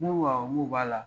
N ko awɔ n ko b'a la.